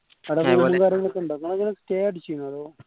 നിങ്ങൾ എങ്ങനെ stay അടിച്ചീനോ അതോ